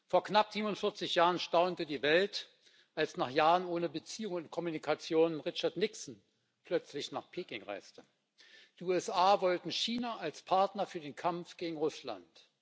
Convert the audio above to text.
Vor knapp 47 Jahren staunte die Welt, als nach Jahren ohne Beziehungen und Kommunikation Richard Nixon plötzlich nach Peking reiste. Die USA wollten China als Partner für den Kampf gegen Russland.